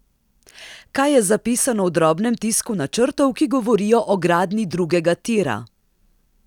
Kaj je zapisano v drobnem tisku načrtov, ki govorijo o gradnji drugega tira?